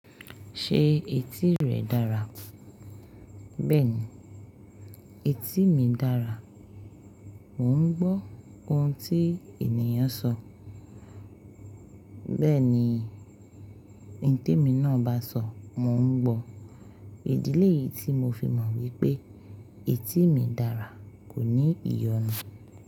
Ṣé etí rẹ dára? Bẹ́ẹ̀ni etí mi dára, mò ń gbọ́ oun tí ènìyàn sọ. Bẹ́ẹ̀ni, ohun tí èmi náà bá sọ mò ń gbọ́. Ìdí léyìí tí mo fi mọ̀ wípé etí mi dára kò ní ìyọnu.